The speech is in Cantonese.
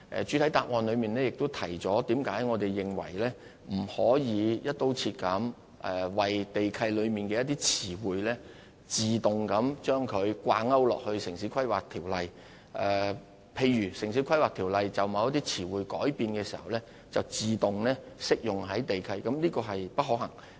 主體答覆亦提到為何我們認為不可以"一刀切"把地契中的詞彙，自動與《城市規劃條例》掛鈎，因為把《城市規劃條例》就某些詞彙作出的改變自動適用於地契是不可行的。